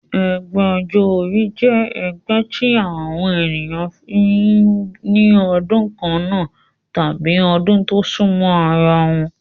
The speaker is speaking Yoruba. Ẹgbẹ́ ọjọ́ orí jẹ́ ẹgbẹ́ tí àwọn ènìyàn tí wọ́n bí ní ọdún kannáà tàbí ọdún tó súnmọ́ ara wọn